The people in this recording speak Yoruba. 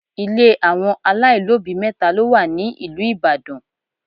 Ile àwọn aláìlóbìí mẹ́ta ló wà ní ìlú Ìbàdàn.